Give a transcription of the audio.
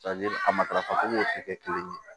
a matarafacogo tɛ kɛ kelen ye